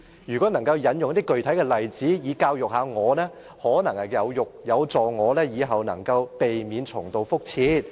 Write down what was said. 如果她能引用一些具體例子，以教育我，可能有助我以後能夠避免重蹈覆轍。